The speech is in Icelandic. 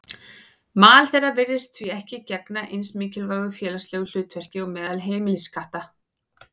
Mal þeirra virðist því ekki gegna eins mikilvægu félagslegu hlutverki og meðal heimiliskatta.